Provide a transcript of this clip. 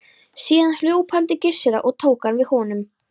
Síðan hljóp hann til Gissurar og tók hann við honum.